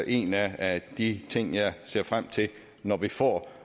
en af de ting jeg ser frem til når vi får